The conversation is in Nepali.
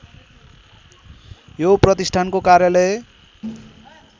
यो प्रतिष्ठानको कार्यालय